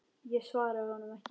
Ég svaraði honum ekki.